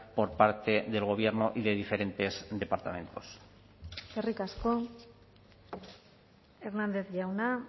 por parte del gobierno y de diferentes departamentos eskerrik asko hernández jauna